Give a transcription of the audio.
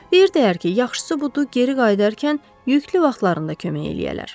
Deyirdilər ki, yaxşısı budur, geri qayıdarkən yüklü vaxtlarında kömək eləyələr.